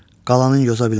Qalanın yoza bilmərəm.